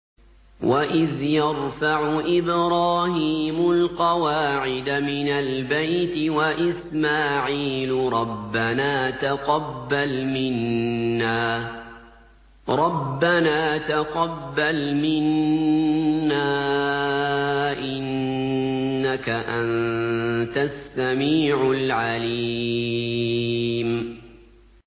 وَإِذْ يَرْفَعُ إِبْرَاهِيمُ الْقَوَاعِدَ مِنَ الْبَيْتِ وَإِسْمَاعِيلُ رَبَّنَا تَقَبَّلْ مِنَّا ۖ إِنَّكَ أَنتَ السَّمِيعُ الْعَلِيمُ